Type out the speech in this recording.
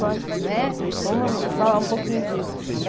Bora. Né? Vamos falar um pouquinho disso.